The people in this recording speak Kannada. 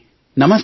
ಭೋರ್ಸೆ